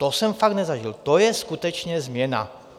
To jsem fakt nezažil, to je skutečně změna.